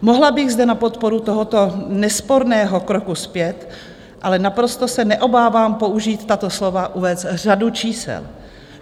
Mohla bych zde na podporu tohoto nesporného kroku zpět - ale naprosto se neobávám použít tato slova - uvést řadu čísel.